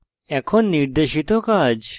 এখন নির্দেশিত কাজ